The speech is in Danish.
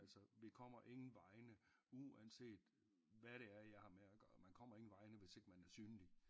Altså vi kommer ingen vegne uanset hvad det er jeg har med at gøre man kommer ingen vegne hvis ikke man er synlig